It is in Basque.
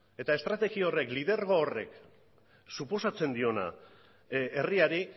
eta estrategia horrek lidergo horrek suposatzen diona herriari